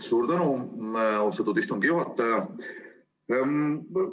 Suur tänu, austatud istungi juhataja!